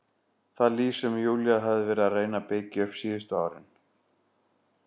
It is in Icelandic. Það líf sem Júlía hafði verið að reyna að byggja upp síðustu árin.